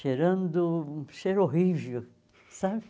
Cheirando um cheiro horrível, sabe?